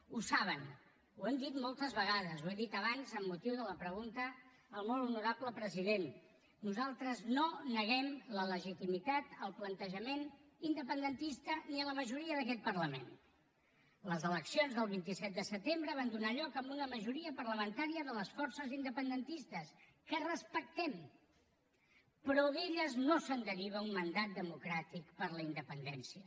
ho saben ho hem dit moltes vegades ho he dit abans amb motiu de la pregunta al molt honorable president nosaltres no neguem la legitimitat al plantejament independentista ni a la majoria d’aquest parlament les eleccions del vint set de setembre van donar lloc a una majoria parlamentària de les forces independentistes que respectem però d’elles no se’n deriva un mandat democràtic per a la independència